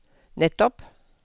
nettopp